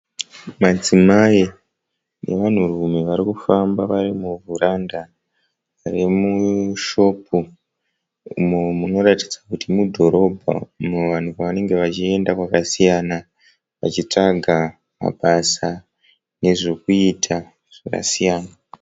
Madzimai nevanhu rume varikufamba varimuvaranda remushop munoratidza kuti mudhorobha, vanhu pavange vachiyenda kwamakasiyana vashisvaka mabasa nezvekuita zvakasiyana.